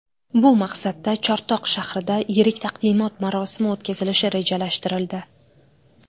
Bu maqsadda Chortoq shahrida yirik taqdimot marosimi o‘tkazilishi rejalashtirildi.